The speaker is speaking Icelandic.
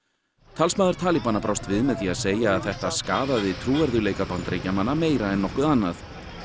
talsmaður brást við með því að segja að þetta skaðaði trúverðugleika Bandaríkjamanna meira en nokkuð annað